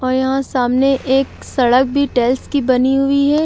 और यहां सामने एक सड़क भी टाइल्स की बनी हुई है।